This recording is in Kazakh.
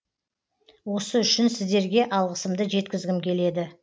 осы үшін сіздерге алғысымды жеткізгім келеді